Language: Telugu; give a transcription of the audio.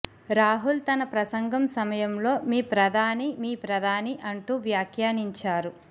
రాహుల్ తన ప్రసంగం సమయంలో మీ ప్రధాని మీ ప్రధాని అంటూ వ్యాఖ్యానించారు